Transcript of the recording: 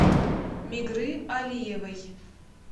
мигры алиевой